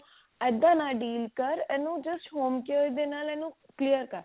ਇੱਦਾਂ ਨਾਲ deal ਕਰ ਇਹਨੂੰ just homecare ਦੇ ਨਾਲ ਇਹਨੂੰ clear ਕਰ